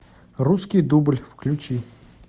русский дубль включи